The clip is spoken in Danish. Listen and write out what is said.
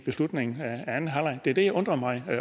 ved slutningen af anden halvleg det er det jeg undrer mig